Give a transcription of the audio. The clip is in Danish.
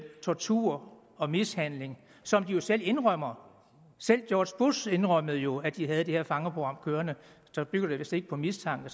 tortur og mishandling som de jo selv indrømmer selv george bush indrømmede jo at de havde det her fangeprogram kørende bygger det vist ikke på mistanke